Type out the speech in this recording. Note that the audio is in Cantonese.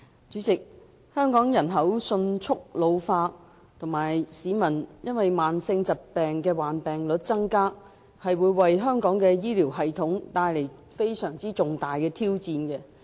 主席，香港人口迅速老化，以及市民患上慢性疾病的比率增加，為香港的醫療系統帶來非常重大的挑戰。